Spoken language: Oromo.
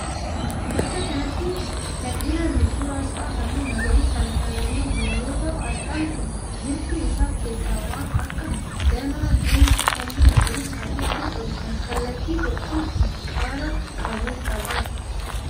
Bakka kanatti kan ilaallu suuraa asxaa halluu magaariisaan faayyamee jiru yoo ta'u. Asxaan kun wiirtuu isaa keessaa waan akka danaa geengoo halluu magariisaa fi adii qabu kan kallattii tokkoon qara qabu qaba.